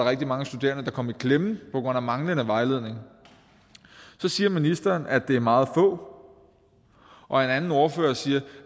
rigtig mange studerende der kom i klemme på grund af manglende vejledning så siger ministeren at det er meget få og en anden ordfører siger at